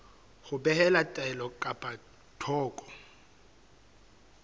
ho behela taelo ka thoko